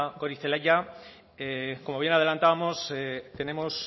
goirizelaia como bien adelantábamos tenemos